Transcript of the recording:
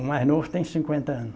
O mais novo tem cinquenta anos.